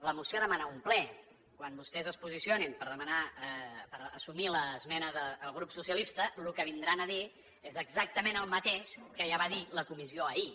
la moció demana un ple quan vostès es posicionin per demanar per assumir l’esmena del grup socialista el que vindran a dir és exactament el mateix que ja va dir la comissió ahir